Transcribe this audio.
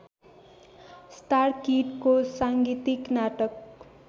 स्टारकिडको साङ्गीतिक नाटक